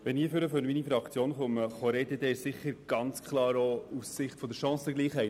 Wenn ich hier für meine Fraktion spreche, geschieht dies ganz sicher auch aus der Sicht der Chancengleichheit.